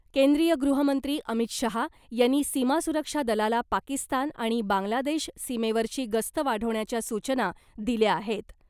केंद्रीय गृहमंत्री अमित शहा यांनी सीमा सुरक्षा दलाला पाकिस्तान आणि बांग्लादेश सीमेवरची गस्त वाढवण्याच्या सूचना दिल्या आहेत .